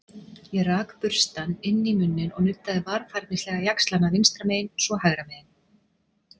Ég rak burstann inn í munninn og nuddaði varfærnislega jaxlana vinstra megin- svo hægra megin.